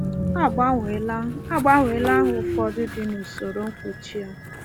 A gbanweela A gbanweela aha ụfọdụ dị n’usoro mkpuchi a.